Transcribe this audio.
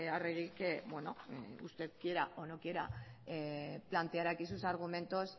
arregi que bueno usted quiera o no quiera plantear aquí sus argumentos